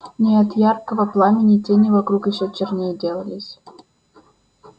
но от его яркого пламени тени вокруг ещё черней делались